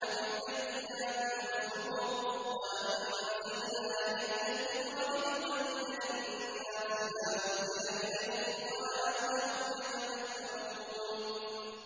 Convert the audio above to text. بِالْبَيِّنَاتِ وَالزُّبُرِ ۗ وَأَنزَلْنَا إِلَيْكَ الذِّكْرَ لِتُبَيِّنَ لِلنَّاسِ مَا نُزِّلَ إِلَيْهِمْ وَلَعَلَّهُمْ يَتَفَكَّرُونَ